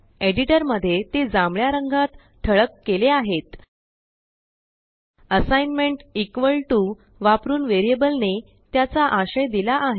editor मध्ये ते जांभळ्या रंगात ठळक केले आहेत असाइग्नमेंट इक्वल टू वापरून वेरिअबलने त्याचा आशय दिला आहे